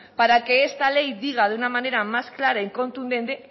para que esta ley diga de una manera más clara y contundente